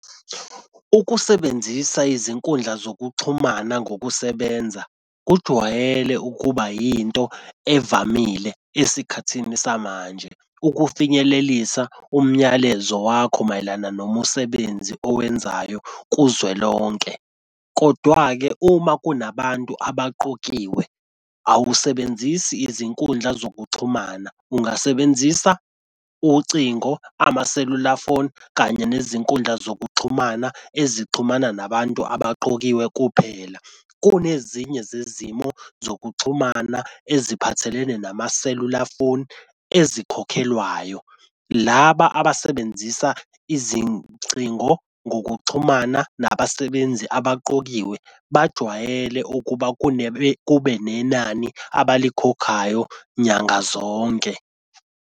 Ukusebenzisa izinkundla zokuxhumana ngokusebenza kujwayele ukuba yinto evamile esikhathini samanje ukufinyelelisa umnyalezo wakho mayelana nomumsebenzi owenzayo kuzwelonke. Kodwa-ke uma kunabantu abaqokiwe awusebenzisi izinkundla zokuxhumana ungasebenzisa ucingo, amaselula foni, kanye nezinkundla zokuxhumana ezixhumana nabantu abaqokiwe kuphela. Kunezinye zezimo zokuxhumana eziphathelene namaselula phone ezikhokhelwayo. Laba abasebenzisa izingcingo ngokuxhumana nabasebenzi abaqokiwe bajwayele ukuba kube nenani abalikhokhayo nyanga zonke.